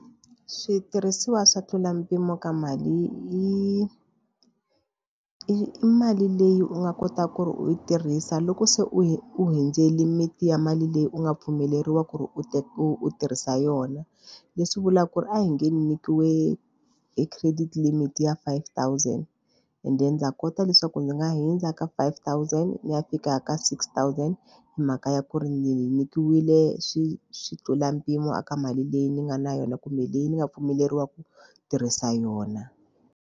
Switirhisiwa swa tlula mpimo ka mali i i mali leyi u nga kotaka ku ri u yi tirhisa loko se u hundzeli lmit-i ya mali leyi u nga pfumeleriwa ku ri u u tirhisa yona. Leswi vulaka ku ri a hi nge nyikiweke credit limit ya five thousand ende ndza kota leswaku ndzi nga hundza ka five thousand ni ya fika ka six thousand hi mhaka ya ku ri ni nyikiwile xi xi tlula mpimo a ka mali leyi ni nga na yona kumbe leyi ni nga pfumeleriwangi ku tirhisa yona.